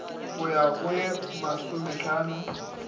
go ya go ye masomehlano